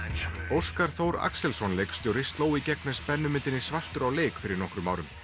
Óskar Axelsson leikstjóri sló í gegn með svartur á leik fyrir nokkrum árum